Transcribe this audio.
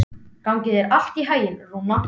Gangi þér allt í haginn, Rúna.